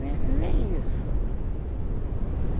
Nem isso.